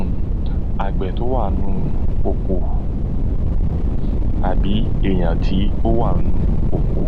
um àgbẹ̀ tó wà nú oko àbí èyàn tí wà nú oko